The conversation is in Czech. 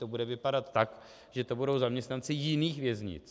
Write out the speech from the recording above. To bude vypadat tak, že to budou zaměstnanci jiných věznic.